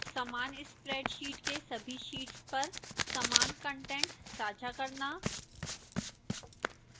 समान spreadsheet के सभी शीट्स पर समान कंटेंट साझा करना